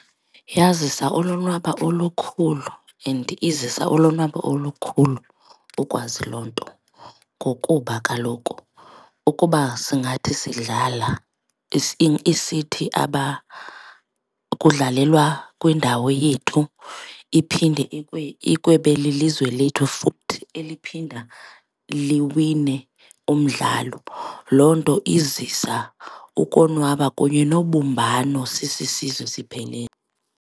Yazisa ulonwabo olukhulu and izisa ulonwabo olukhulu ukwazi loo nto ngokuba kaloku ukuba singathi sidlala isithi aba kudlalelwa kwindawo yethu, iphinde lilizwe lethu futhi eliphinda liwina umdlalo. Loo nto izisa ukonwaba kunye nobumbano sisisizwe siphelele.